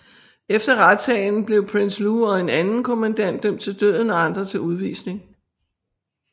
Efter retssagen blev Prinsloo og en anden kommandant dømt til døden og andre til udvisning